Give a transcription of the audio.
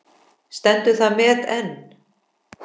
Stendur það met enn.